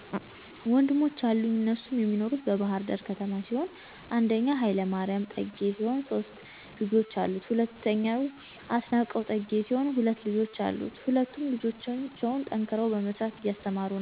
ወንድሞች አሉኝ እነሱም የሚኖሩት በባህርዳር ከተማ ሲሆን 1 ሀ/ማሪያም ጠጌ ሲሆን ሶስት ልጆች አሉት። 2 አስናቀው ጠጌ ሲሆን ሁለት ልጆች አሉት። ሁለቱም ልጆቻቸውን ጠንክረው በመስራት እያስተማሩ ነው።